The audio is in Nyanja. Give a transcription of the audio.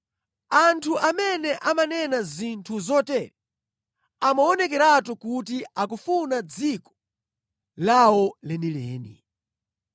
Anthu amene amanena zinthu zotere amaonekeratu kuti akufuna dziko lawo lenileni.